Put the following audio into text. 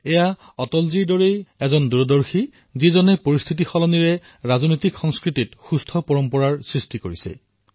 এয়া অটলজীৰ দৰে দূৰদ্ৰষ্টাই আছিল যিয়ে স্থিতি পৰিৱৰ্তন কৰিলে আৰু আমাৰ ৰাজনৈতিক সংস্কৃতিত সুস্থ পৰম্পৰা স্থাপন কৰিলে